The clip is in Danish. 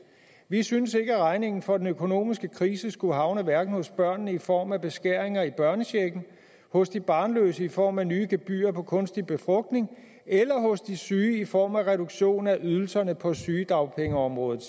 vi synes ikke at regningen for den økonomiske krise skulle havne hverken hos børnene i form af beskæringer i børnechecken hos de barnløse i form af nye gebyrer på kunstig befrugtning eller hos de syge i form af reduktion af ydelserne på sygedagpengeområdet